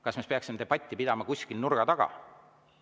Kas me peaksime debatti pidama kuskil nurga taga?